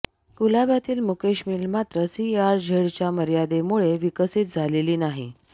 कुलाब्यातील Mukesh mill मात्र सीआरझेडच्या मर्यादेमुळे विकसित झालेली नाही